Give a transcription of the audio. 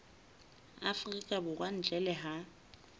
afrika borwa ntle le ha